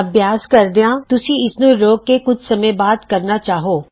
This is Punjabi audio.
ਅਭਿਆਸ ਕਰਦਿਆਂ ਹੋ ਸਕਦਾ ਹੈ ਤੁਸੀਂ ਇਸ ਨੂੰ ਰੋਕ ਕੇ ਕੁਝ ਚਿਰ ਬਾਅਦ ਕਰਨਾ ਚਾਹੋ